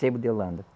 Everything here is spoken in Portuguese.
Sebo de Holanda.